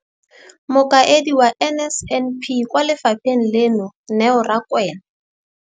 Mokaedi wa NSNP kwa lefapheng leno, Neo Rakwena.